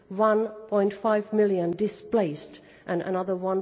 1.5 million displaced, and another